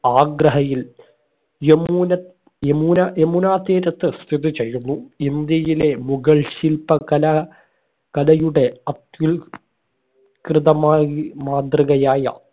ആഗ്രഹയിൽ യമുന യമുനാ യമുനാ തീരത്ത് സ്ഥിതി ചെയ്യുന്നു ഇന്ത്യയിലെ മുഗൾ ശില്പകലാ കലയുടെ അത്യുൽ കൃതമായി മാതൃകയായ